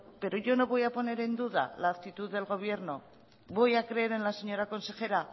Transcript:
pero yo no voy a poner en duda la actitud del gobierno voy a creer en la señora consejera